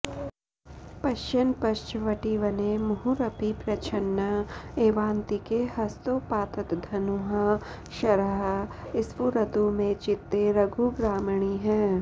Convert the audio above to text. पश्यन्पश्चवटीवने मुहुरपि प्रच्छन्न एवान्तिके हस्तोपात्तधनुःशरः स्फुरतु मे चित्ते रघुग्रामणीः